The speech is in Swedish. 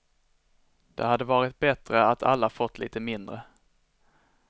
Det hade varit bättre att alla fått lite mindre.